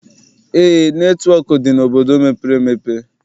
Eé, netịwọk dị n'obodo mepere emepe.